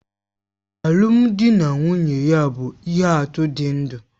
Alụmdi na nwunye ya bụ ihe atụ dị ndụ